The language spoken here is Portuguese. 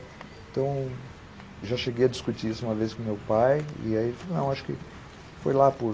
Então, já cheguei a discutir isso uma vez com meu pai e ele falou, não, acho que foi lá por...